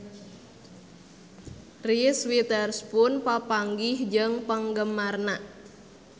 Reese Witherspoon papanggih jeung penggemarna